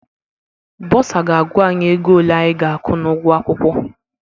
Bọsa ga-agwa anyị ego ole anyị ga-akwụ n'ụgwọ akwụkwọ.